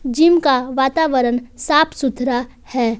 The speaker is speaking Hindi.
जिम का वातावरण साफ सुथरा है।